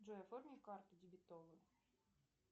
джой оформи карту дебетовую